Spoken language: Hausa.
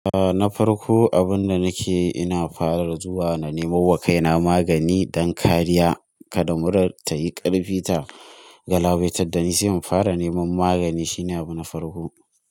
A na farko abun da nake ina fara zuwa na nemo wa kaina magani don kariya kada murar ta yi ƙarfi ta galabaitar da ni sai in fara neman magani shine abuna farko.